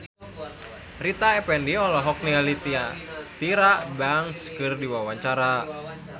Rita Effendy olohok ningali Tyra Banks keur diwawancara